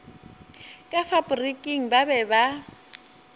ka faporiking ba be ba